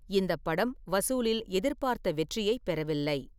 இந்தப் படம் வசூலில் எதிர்பார்த்த வெற்றியைப் பெறவில்லை.